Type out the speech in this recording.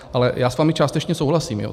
Ale já s vámi částečně souhlasím.